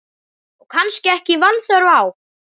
Og kannski ekki vanþörf á.